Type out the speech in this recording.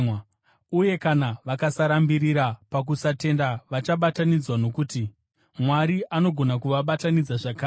Uye kana vakasarambirira pakusatenda, vachabatanidzwa, nokuti Mwari anogona kuvabatanidza zvakare.